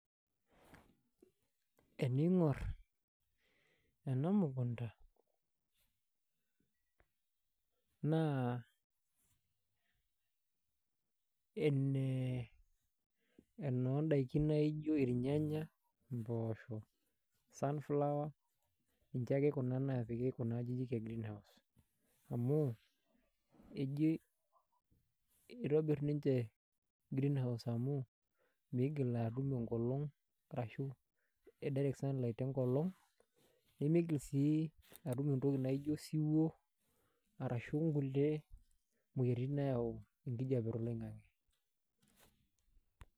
Eningor enamukunda naa enee enondakini nijo irnyanya, mpoosho, sunflower ninche ame kuna napiki kuna ajijik e greenhouse ejii itobir ninche greenhouse amu mingil atum direct sunlight enkolong pemeogil sii atum nkulie tokitin nijo osiwuo, moyiaritin nayau enkijape toloingani